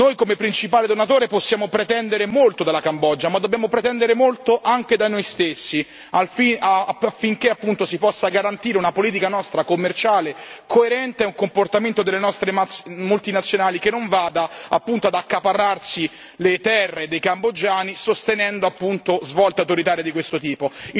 Noi, come principale donatore, possiamo pretendere molto dalla Cambogia, ma dobbiamo pretendere molto anche da noi stessi affinché si possa garantire una politica nostra commerciale coerente e un comportamento delle nostre multinazionali che non vada ad accaparrarsi le terre dei cambogiani, sostenendo appunto svolte autoritarie di questo tipo.